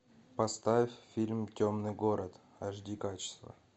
поставь фильм темный город аш ди качество